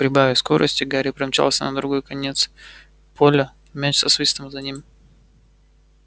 прибавив скорости гарри промчался на другой конец поля мяч со свистом за ним